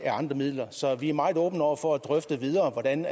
andre midler så vi er meget åbne over for at drøfte videre hvordan